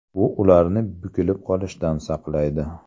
Bu ularni bukilib qolishdan saqlaydi.